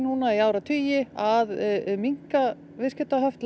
í áratugi að minnka viðskiptahöft